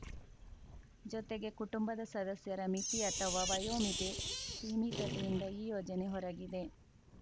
ಜೊತೆಗೆ ಕುಟುಂಬದ ಸದಸ್ಯರ ಮಿತಿ ಅಥವಾ ವಯೋಮಿತಿ ಸೀಮಿತತೆಯಿಂದ ಈ ಯೋಜನೆ ಹೊರಗಿದೆ